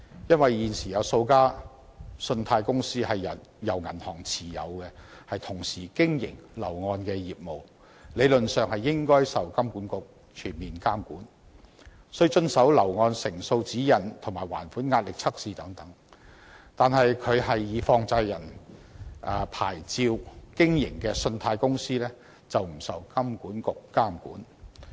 因為，現時有數間信貸公司是由銀行持有，同時經營樓宇按揭業務，理論上應該受到金管局全面監管，需要遵守樓宇按揭成數的指引及進行還款壓力測試等，但以放債人牌照經營的信貸公司卻不受金管局監管。